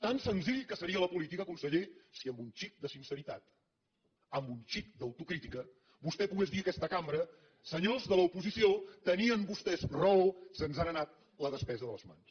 tan senzilla que seria la política conseller si amb un xic de sinceritat amb un xic d’autocrítica vostè pogués dir a aquesta cambra senyors de l’oposició tenien vostès raó se’ns n’ha anat la despesa de les mans